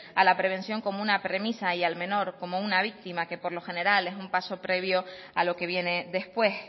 a la prevención como una premisa y al menor como una víctima que por lo general es un paso previo a lo que viene después